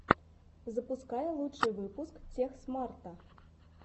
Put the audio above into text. запускай лучший выпуск тех смарта